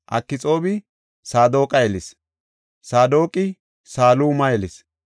Akxoobi Saadoqa yelis; Saadoqi Saluma yelis;